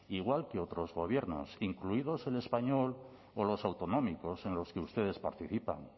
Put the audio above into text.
igual que otros gobiernos incluidos el español o los autonómicos en los que ustedes participan